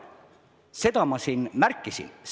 Seda ma siin märkisin.